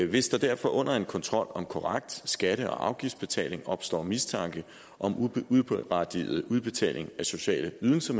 hvis der derfor under en kontrol om korrekt skatte og afgiftsbetaling opstår mistanke om uberettiget udbetaling af sociale ydelser